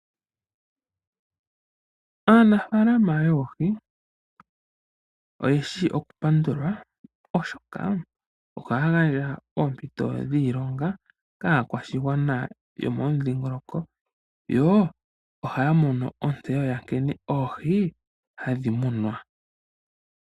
Aanafaalama yoohi oye shi okupandulwa, oshoka ohaya gandja oompito dhiilonga kaakwashigwana yomomudhingoloko yo ohaya mono ontseyo ya nkene oohi hadhi munwa.